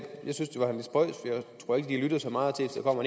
tror ikke de lytter så meget